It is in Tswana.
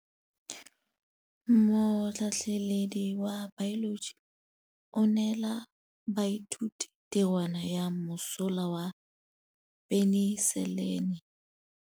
Motlhatlhaledi wa baeloji o neela baithuti tirwana ya mosola wa peniselene.